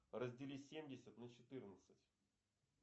раздели семьдесят на четырнадцать